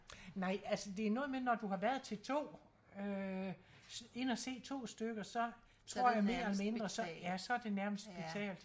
Nej altså det noget med når du har været til 2 øh inde og se 2 stykker så tror jeg mere eller mindre så ja så det nærmest betalt